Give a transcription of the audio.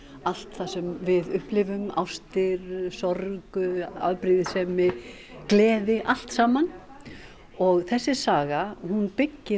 allt það sem við upplifum ástir sorg afbrýðisemi gleði allt saman og þessi saga byggir